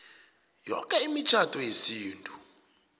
yoke imitjhado yesintu